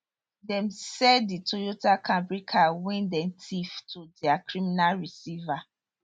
dem sell di toyota camry car wey dem tiff to dia criminal receiver